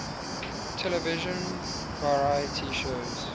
television variety shows